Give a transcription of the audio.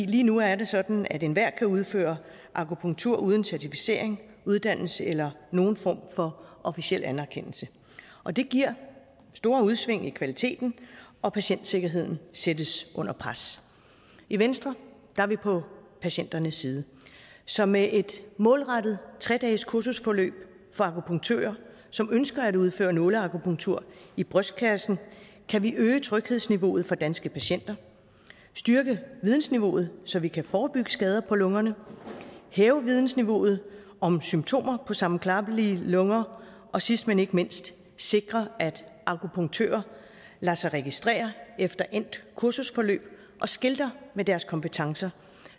lige nu er det sådan at enhver kan udføre akupunktur uden certificering uddannelse eller nogen form for officiel anerkendelse og det giver store udsving i kvaliteten og patientsikkerheden sættes under pres i venstre er vi på patienternes side så med et målrettet tre dages kursusforløb for akupunktører som ønsker at udføre nåleakupunktur i brystkassen kan vi øge tryghedsniveauet for danske patienter styrke vidensniveauet så vi kan forebygge skader på lungerne hæve vidensniveauet om symptomer på sammenklappede lunger og sidst men ikke mindst sikre at akupunktører lader sig registrere efter endt kursusforløb og skilter med deres kompetencer